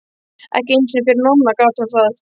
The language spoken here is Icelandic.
Ekki einu sinni fyrir Nonna gat hún það.